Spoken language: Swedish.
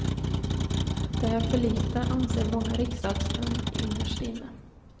Det är för lite, anser många riksdagsmän innerst inne.